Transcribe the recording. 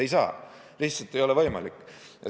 Ei saa, lihtsalt ei ole võimalik.